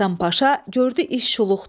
Həsən Paşa gördü iş şuluqdu.